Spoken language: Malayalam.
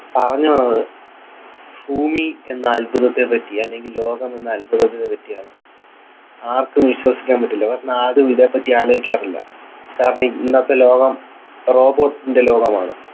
പറഞ്ഞു വന്നത് ഭൂമി എന്ന അത്ഭുതത്തെ പറ്റി അല്ലെങ്കിൽ ലോകം എന്ന അത്ഭുതത്തെ പറ്റിയാണ് ആർക്കും വിശ്വസിക്കാൻ പറ്റില്ല ആരും ഇതിനെപ്പറ്റി ആലോചിക്കാറില്ല കാരണം ഇന്നത്തെ ലോകം robot ൻ്റെ ലോകമാണ്